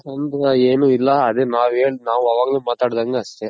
ಅಂತ ಏನಿಲ್ಲ ಅದೇ ನಾವ್ ಏನ್ ನಾವ್ ಅವಾಗೆ ಮಾತ್ ಆಡ್ದಂಗೆ ಅಷ್ಟೇ